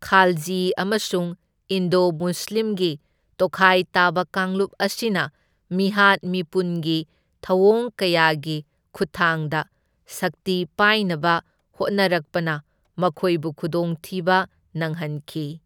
ꯈꯥꯜꯖꯤ ꯑꯃꯁꯨꯡ ꯏꯟꯗꯣ ꯃꯨꯁꯂꯤꯝꯒꯤ ꯇꯣꯈꯥꯏ ꯇꯥꯕ ꯀꯥꯡꯂꯨꯞ ꯑꯁꯤꯅ ꯃꯤꯍꯥꯠ ꯃꯤꯄꯨꯟꯒꯤ ꯊꯧꯑꯣꯡ ꯀꯌꯥꯒꯤ ꯈꯨꯠꯊꯥꯡꯗ ꯁꯛꯇꯤ ꯄꯥꯏꯅꯕ ꯍꯣꯠꯅꯔꯛꯄꯅ ꯃꯈꯣꯏꯕꯨ ꯈꯨꯗꯣꯡꯊꯤꯕ ꯅꯪꯍꯟꯈꯤ꯫